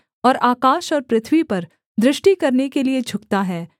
और आकाश और पृथ्वी पर दृष्टि करने के लिये झुकता है